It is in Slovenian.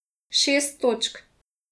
Šest točk.